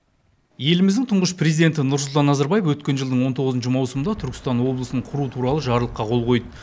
еліміздің тұңғыш президенті нұрсұлтан назарбаев өткен жылдың он тоғызыншы маусымда түркістан облысын құру туралы жарлыққа қол қойды